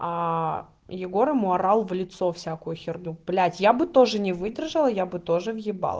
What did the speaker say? аа егор ему орал в лицо всякую херню блять я бы тоже не выдержала я бы тоже въебала